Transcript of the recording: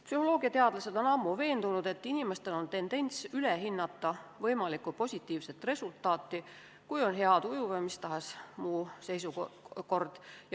Psühholoogiateadlased on ammu veendunud, et inimestel on tendents ülehinnata võimalikku positiivset resultaati, kui on hea tuju või mis tahes muu seisukord.